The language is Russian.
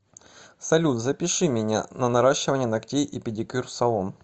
салют запиши меня на наращивание ногтей и педикюр в салон